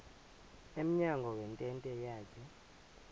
emnyango wentente yakhe